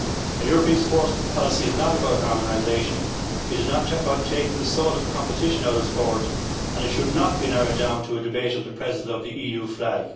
A European sports policy is not about harmonisation, it is not about taking the soul of competition out of sport and it should not be narrowed down to a debate on the presence of the EU flag.